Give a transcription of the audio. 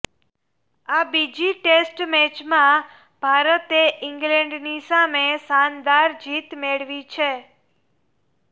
આ બીજી ટેસ્ટ મેચમાં ભારતે ઈંગ્લેન્ડની સામે શાનદાર જીત મેળવી છે